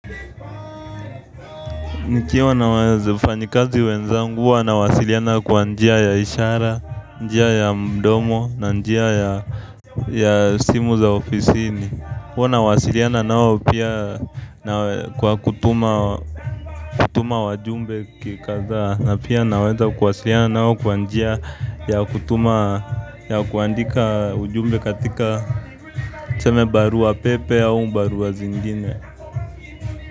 Nikiwa na wafanyikazi wenzangu, huwa nawasiliana kwa njia ya ishara, njia ya mdomo, na njia ya simu za ofisini. Huwa nawasiliana nao pia kwa kutuma wajumbe kikadhaa, na pia naweza kuwasiliana nao kwa njia ya kutuma, ya kuandika ujumbe katika tuseme barua pepe au barua zingine.